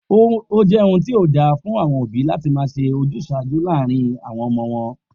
O jé ohun tí kò dáa tó fún àwo̩n òbí láti máa s̩e ojús̩àájú láàárín àwo̩n o̩mo̩ wo̩n